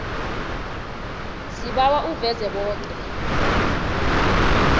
sibawa uveze boke